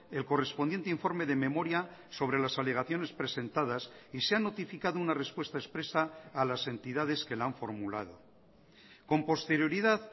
el correspondiente informe de memoria sobre las alegaciones presentadas y se ha notificado una respuesta expresa a las entidades que la han formulado con posterioridad